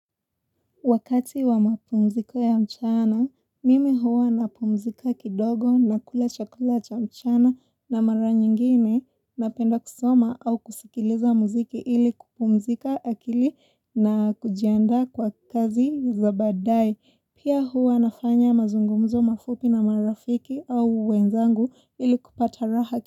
Wakati wa mapumziko ya mchana, mimi huwa napumzika kidogo nakula chakula cha mchana na mara nyingine napenda kusoma au kusikiliza muziki ili kupumzika akili na kujiandaa kwa kazi za badae. Pia huwa nafanya mazungumzo mafupi na marafiki au wenzangu ili kupata raha.